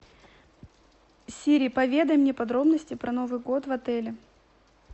сири поведай мне подробности про новый год в отеле